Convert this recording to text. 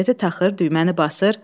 Kasete taxır, düyməni basır.